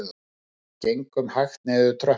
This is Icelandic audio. Við gengum hægt niður tröppurnar